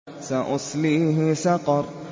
سَأُصْلِيهِ سَقَرَ